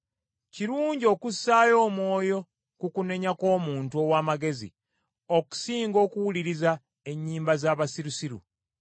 Kirungi okussaayo omwoyo ku kunenya kw’omuntu ow’amagezi okusinga okuwuliriza ennyimba z’abasirusiru.